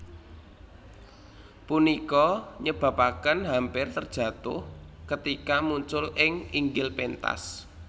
Punika nyebabaken hampir terjatuh ketika muncul ing inggil pentas